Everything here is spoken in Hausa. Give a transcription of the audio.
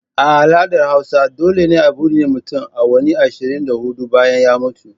A al'adar hausa dole ne a binne mutum awanni ashirin da hudu bayan ya mutu.